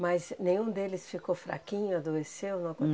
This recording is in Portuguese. Mas nenhum deles ficou fraquinho, adoeceu? Não